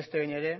beste behin ere